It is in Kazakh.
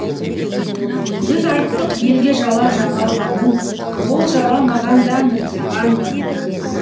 біз айттық елге жала жамалғанын ол жала маған да мін саған да мін